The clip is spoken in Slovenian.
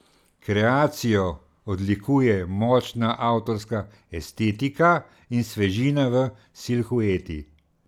Kreacijo odlikuje močna avtorska estetika in svežina v silhueti.